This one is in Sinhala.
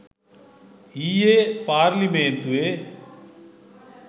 ඊයේ පාර්ලිමේන්තුවේ